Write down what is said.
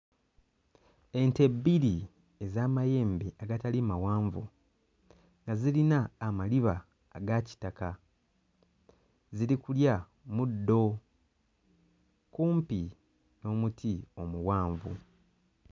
Ente bbiri ez'amayembe agatali mawanvu nga zirina amaliba aga kitaka ziri kulya muddo kumpi n'omuti omuwanvu.